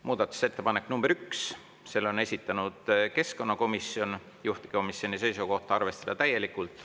Muudatusettepanek nr 1, selle on esitanud keskkonnakomisjon, juhtivkomisjoni seisukoht on arvestada täielikult.